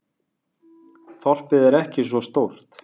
Þorpið er ekki svo stórt.